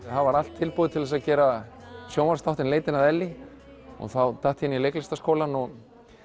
var allt tilbúið til að gera sjónvarpsþátt um leitina að Ellý og þá datt ég inn í leiklistarskólann og